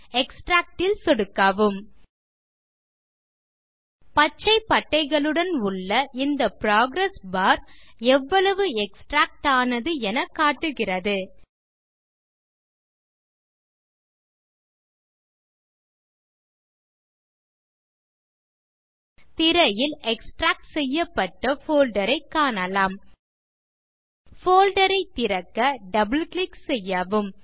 extract ல் சொடுக்கவும் பச்சை பட்டைகளுடன் உள்ள இந்த புரோகிரஸ் பார் எவ்வளவு எக்ஸ்ட்ராக்ட் ஆனது என காட்டுகிறது திரையில் எக்ஸ்ட்ராக்ட் செய்யப்பட்ட போல்டர் ஐ காணலாம் போல்டர் ஐ திறக்க டபிள் கிளிக் செய்யவும்